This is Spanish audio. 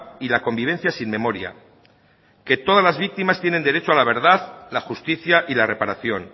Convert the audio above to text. y la convivencia sin memoria que todas las víctimas tienen derecho a la verdad la justicia y la reparación